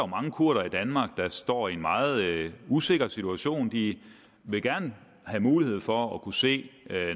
mange kurdere i danmark der står i en meget usikker situation de vil gerne have mulighed for at kunne se